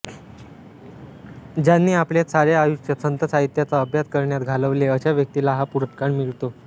ज्यांनी आपले सारे आयुष्य संत साहित्याचा अभ्यास कराण्यात घालवले अशा व्यक्तीला हा पुरस्कार मिळतो